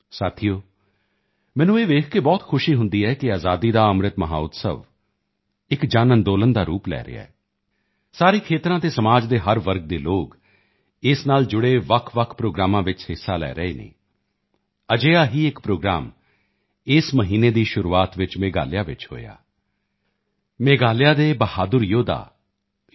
ਸਾਥੀਓ ਮੈਨੂੰ ਇਹ ਵੇਖ ਕੇ ਬਹੁਤ ਖੁਸ਼ੀ ਹੁੰਦੀ ਹੈ ਕਿ ਆਜ਼ਾਦੀ ਕਾ ਅੰਮ੍ਰਿਤ ਮਹੋਤਸਵ ਇੱਕ ਜਨਅੰਦੋਲਨ ਦਾ ਰੂਪ ਲੈ ਰਿਹਾ ਹੈ ਸਾਰੇ ਖੇਤਰਾਂ ਅਤੇ ਸਮਾਜ ਦੇ ਹਰ ਵਰਗ ਦੇ ਲੋਕ ਇਸ ਨਾਲ ਜੁੜੇ ਵੱਖਵੱਖ ਪ੍ਰੋਗਰਾਮਾਂ ਵਿੱਚ ਹਿੱਸਾ ਲੈ ਰਹੇ ਹਨ ਅਜਿਹਾ ਹੀ ਇੱਕ ਪ੍ਰੋਗਰਾਮ ਇਸ ਮਹੀਨੇ ਦੀ ਸ਼ੁਰੂਆਤ ਵਿੱਚ ਮੇਘਾਲਿਆ ਚ ਹੋਇਆ ਮੇਘਾਲਿਆ ਦੇ ਬਹਾਦੁਰ ਯੋਧਾ ਯੂ